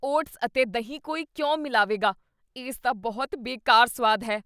Oats ਅਤੇ ਦਹੀਂ ਕੋਈ ਕਿਉਂ ਮਿਲਾਵੇਗਾ? ਇਸ ਦਾ ਬਹੁਤ ਬੇਕਾਰ ਸੁਆਦ ਹੈ।